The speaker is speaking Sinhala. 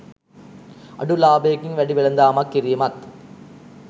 අඩු ලාබයකින් වැඩි වෙළඳාමක් කිරීමත්